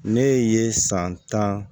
Ne ye san tan